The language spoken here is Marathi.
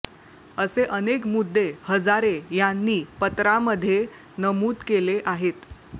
असे अनेक मुद्दे हजारे यांनी पत्रामधे नमुद केले आहेत